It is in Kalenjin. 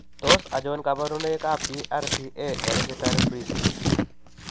Tos achon kabarunaik ab BRCA@ hereditary breast ?